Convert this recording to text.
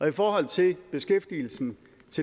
i forhold til beskæftigelsen